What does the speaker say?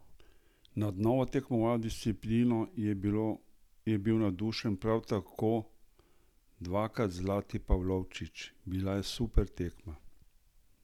Nad novo tekmovalno disciplino je bil navdušen prav tako dvakrat zlati Pavlovčič: "Bila je super tekma.